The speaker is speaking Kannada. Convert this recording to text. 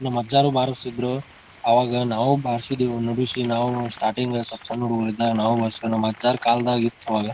ನಮ್ ಅಜ್ಜವ್ರು ಬಾರಿಸ್ತಿದ್ರು ಅವಾಗ ನಾವು ಬಾರಿಸಿದ್ವು ನುಡಿಸಿದ್ವು ನಾವು ಸ್ಟಾರ್ಟಿಂಗ್ ಸ್ವಲ್ಪ ಸಣ್ಣ್ ಹುಡುಗೂರು ಇದ್ದಾಗ ನಾವು ಬಾರಿಸಿದ್ವು. ನಮ ಅಜ್ಜರ್ ಕಾಲದಲ್ಲಿ ಇತ್ತ ಅವಾಗ.